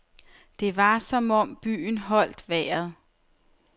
Det var som om byen holdt vejret.